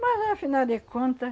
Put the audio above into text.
Mas, afinal de conta...